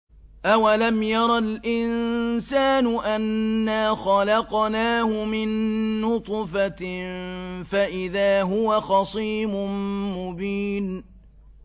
أَوَلَمْ يَرَ الْإِنسَانُ أَنَّا خَلَقْنَاهُ مِن نُّطْفَةٍ فَإِذَا هُوَ خَصِيمٌ مُّبِينٌ